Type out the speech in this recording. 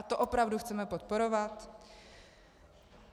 A to opravdu chceme podporovat?